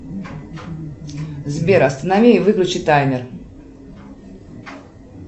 сбер останови и выключи таймер